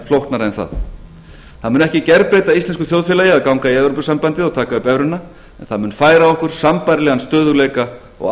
flóknara en það það mun ekki gerbreyta íslensku þjóðfélagi að ganga í evrópusambandið og taka upp evruna en það mun færa okkur sambærilegan stöðugleika og